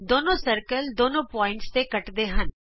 ਦੋਨੋ ਗੋਲੇ ਦੋਨਾਂ ਬਿੰਦੂਆਂ ਤੇ ਕੱਟਦੇ ਹਨ